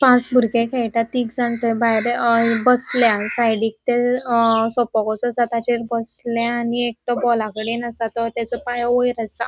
पांच बुरगे खेळटा थेग जन तै भायर बसल्या साइडीक तै अ सोफ़ा कसो असा ताचेर बसल्या आनी एक तो बोलाकडे असा तो त्याजो पाय वयर असा.